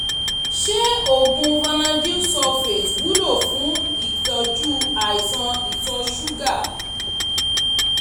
ṣé oògùn vanadyl sulfate wúlò fún ìtọ́jú àìsàn ìtọ̀ ṣúgà?